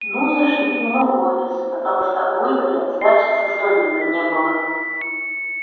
ну зашли к нему в офис потому что у игоря сдачи со стольника не было